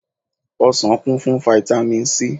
Ọsàn kún fún fáítámì sí.